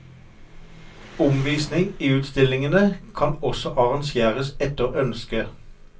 Omvisning i utstillingene kan også arrangeres etter ønske.